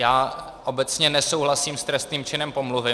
Já obecně nesouhlasím s trestným činem pomluvy.